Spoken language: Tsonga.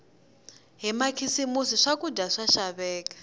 hi makhisimisi swakudya swa xaveka